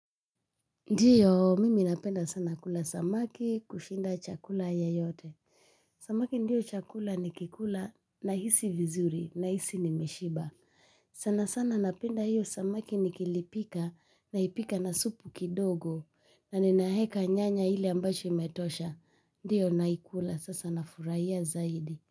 Ndiyo mimi napenda sana kula samaki kushinda chakula yeyote. Samaki ndiyo chakula nikikula nahisi vizuri nahisi nimeshiba. Sana sana napenda hiyo samaki nikilipika naipika na supu kidogo na ninaeka nyanya ile ambacho imetosha. Ndiyo naikula sasa nafurahia zaidi.